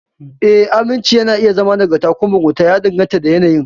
Ee, aminci na iya zama nagarta ko mugunta, ya danganta da yanayin.